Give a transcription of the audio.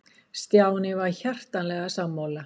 Stjáni var hjartanlega sammála.